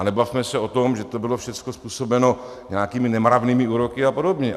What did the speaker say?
A nebavme se o tom, že to bylo všecko způsobeno nějakými nemravnými úroky a podobně.